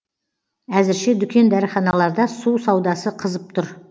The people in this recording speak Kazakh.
әзірше дүкен дәріханаларда су саудасы қызып тұр